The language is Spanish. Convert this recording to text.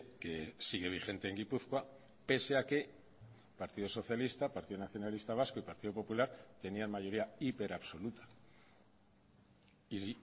que sigue vigente en gipuzkoa pese a que partido socialista partido nacionalista vasco y partido popular tenían mayoría hiper absoluta y